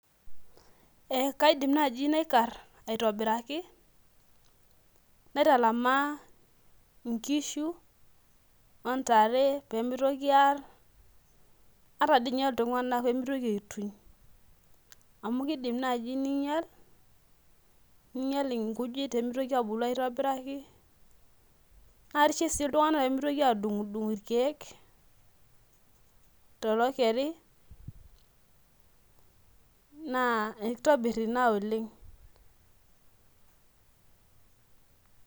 Ee kaidim nai naikar aitobiraki naitalamaa nkishu ontare pemitoki aar ataa ninye ltunganak pemitoki aituny amu kidim nai ninyel nemitoki abuku aitobiraki na karishie si ltunganak pemeitoki adung irkiek tolokerina kitobir ina oleng.